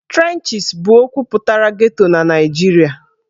Trenches' bụ okwu pụtara 'Ghetto' na Naịjirịa.